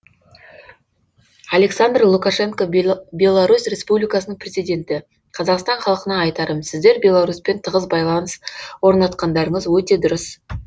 александр лукашенко беларусь республикасының президенті қазақстан халқына айтарым сіздер беларусьпен тығыз байланыс орнатқандарыңыз өте дұрыс